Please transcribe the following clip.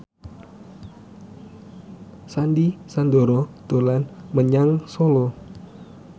Sandy Sandoro dolan menyang Solo